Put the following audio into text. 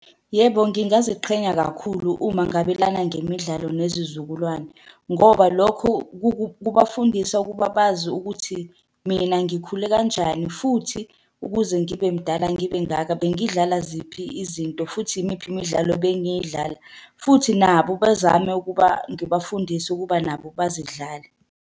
Yebo, ngingaziqhenya kakhulu uma ngabelana ngemidlalo nezizukulwane, ngoba lokho kubafundisa ukuba bazi ukuthi mina ngikhule kanjani, futhi ukuze ngibe mdala, ngibe ngaka bengidlala ziphi izinto, futhi imiphi imidlalo ebengiyidlala futhi nabo bezame ukuba ngibafundise ukuba nabo bazidlale.